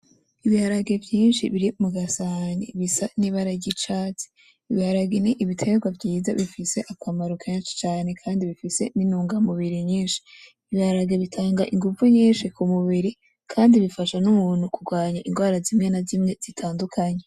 Ibiharage vyinshi biri mu gasahani bisa n'ibara ry'icatsi ibiharani ni ibitegwa vyiza bifise akamaro kenshi cane kandi bifise n'intunga mubiri nyinshi ibiharage bitanga inguvu nyinshi kumubiri kandi bifasha n'umuntu kugwanya ingwara zimwe na zimwe zitandukanye